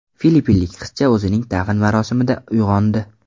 Filippinlik qizcha o‘zining dafn marosimida uyg‘ondi.